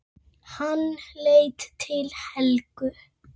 Hann leit til Helgu.